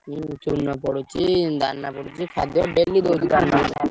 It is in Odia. ପଡିଛି ଦାନା ପଡିଛି ଖାଦ୍ୟ daily daily ।